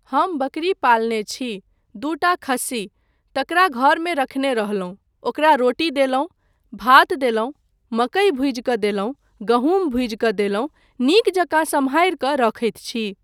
हम बकरी पालने छी, दूटा खस्सी, तकरा घरमे रखने रहलहुँ, ओकरा रोटी देलहुँ, भात देलहुँ, मकइ भुजि कऽ देलहुँ, गहूँम भुजि कऽ देलहुँ, नीक जकाँ सम्हारि कऽ रखैत छी।